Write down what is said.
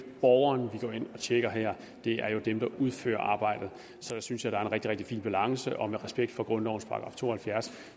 borgeren vi går ind og tjekker her det er dem der udfører arbejdet så jeg synes det er en rigtig rigtig fin balance og med respekt for grundlovens § to og halvfjerds